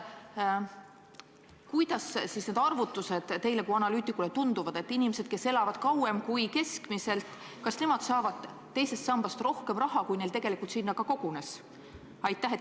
Kuidas need arvutused teile kui analüütikule tunduvad – kas inimesed, kes elavad keskmisest kauem, saavad teisest sambast rohkem raha, kui neil tegelikult sinna kogunes?